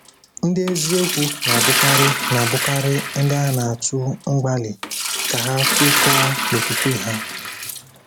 Ndị eziokwu na-abụkarị na-abụkarị ndị a na-atụ mgbali ka ha kwekọọ n’okwukwe ha.